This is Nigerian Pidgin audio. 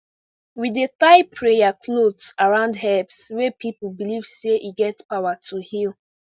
we dey tie prayer cloth around herbs wey people believe say get power to heal